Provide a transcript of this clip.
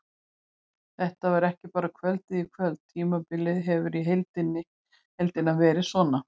Þetta var ekki bara kvöldið í kvöld, tímabilið hefur í heildina verið svona.